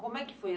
Como é que foi?